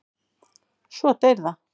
Svo deyr það.